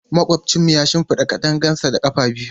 Makwabcinmu ya shimfida katangarsa da ƙafa biyu.